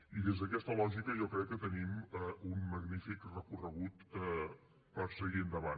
i des d’aquesta lògica jo crec que tenim un magnífic recorregut per seguir endavant